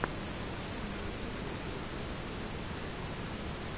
на ютубе криэйториар тв